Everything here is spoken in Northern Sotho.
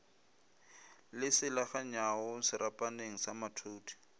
le selaganyago serapaneng sa mathudi